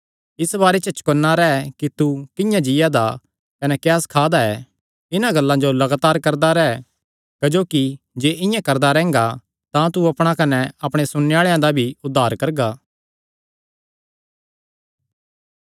इस बारे च चौकन्ना रैह् कि तू किंआं जीआ दा ऐ कने क्या सखा दा ऐ इन्हां गल्लां जो लगातार करदा रैह् क्जोकि जे इआं करदा रैंह्गा तां तू अपणा कने अपणे सुणने आल़ेआं दा भी उद्धार करगा